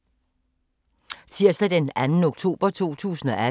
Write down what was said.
Tirsdag d. 2. oktober 2018